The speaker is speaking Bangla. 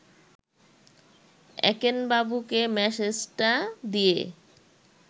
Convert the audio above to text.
একেনবাবুকে মেসেজটা দিয়ে